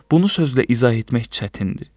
Bunu sözlə izah etmək çətindir.